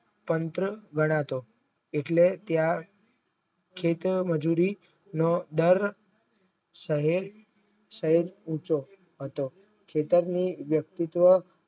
તંત્ર ગણાતો એટલે ત્યાં કહેતો મજૂરી નો દર સારે સાર ઉંચો ખેતરનું વ્યક્તિત્વ